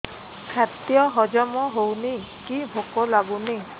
ଖାଦ୍ୟ ହଜମ ହଉନି କି ଭୋକ ଲାଗୁନି